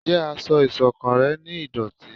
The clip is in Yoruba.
Njé aṣọ iṣọ̀kan rẹ ní ìdòtí?